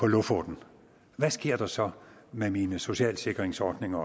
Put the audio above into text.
lofoten hvad sker der så med mine socialsikringsordninger